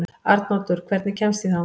Arnoddur, hvernig kemst ég þangað?